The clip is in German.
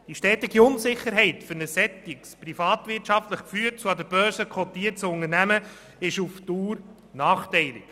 Die daraus entstehende Unsicherheit ist für ein privatwirtschaftlich geführtes und an der Börse kotiertes Unternehmen auf Dauer nachteilig.